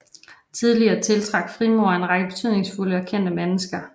Tidligere tiltrak frimureri en række betydningsfulde og kendte mennesker